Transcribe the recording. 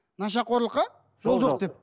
нашақорлыққа жол жоқ деп